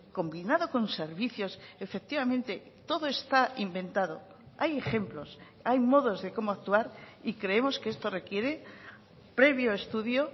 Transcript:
combinado con servicios efectivamente todo está inventado hay ejemplos hay modos de cómo actuar y creemos que esto requiere previo estudio